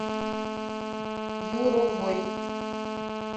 юровой